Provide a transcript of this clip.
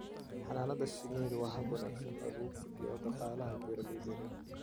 Xannaanada shinnidu waa hab wanaagsan oo lagu kordhiyo dakhliga beeralayda yaryar.